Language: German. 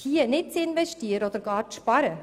Hier nicht zu investieren oder gar zu sparen,